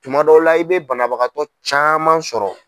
Tuma dɔw la i bɛ banabagatɔ caman sɔrɔ.